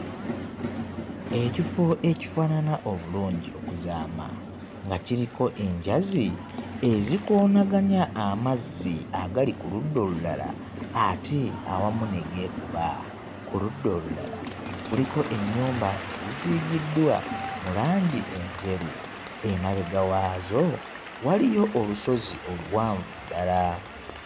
Ekifo ekifaanana obulungi okuzaama nga kiriko enjazi ezikoonanganya amazzi agali ku ludda olulala ate awamu ne geekuba. Ku ludda olulala kuliko ennyumba ezisiigiddwa mu langi enjeru emabega waazo waliyo olusozi oluwanvu ddala.